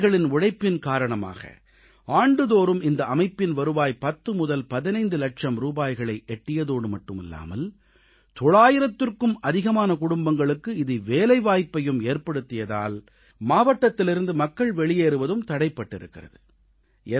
விவசாயிகளின் உழைப்பின் காரணமாக ஆண்டுதோறும் இந்த அமைப்பின் வருவாய் 10 முதல் 15 லட்சம் ரூபாய்களை எட்டியதோடு மட்டுமல்லாமல் 900க்கும் அதிகமான குடும்பங்களுக்கு இது வேலைவாய்ப்பையும் ஏற்படுத்தியதால் மாவட்டத்திலிருந்து மக்கள் வெளியேறுவதும் தடைபட்டிருக்கிறது